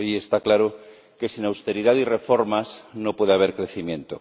Hoy está claro que sin austeridad y reformas no puede haber crecimiento.